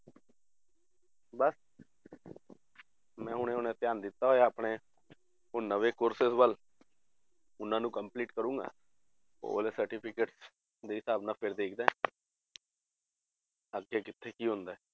ਬਸ ਮੈਂ ਹੁਣੇ ਹੁਣੇ ਧਿਆਨ ਦਿੱਤਾ ਹੋਇਆ ਆਪਣੇ ਹੁਣ ਨਵੇਂ courses ਵੱਲ ਉਹਨਾਂ ਨੂੰ complete ਕਰਾਂਗਾ, ਉਹ ਵਾਲੇ certificates ਦੇ ਹਿਸਾਬ ਨਾਲ ਫਿਰ ਦੇਖਦਾ ਹਾਂ ਅੱਗੇ ਕਿੱਥੇ ਕੀ ਹੁੰਦਾ ਹੈ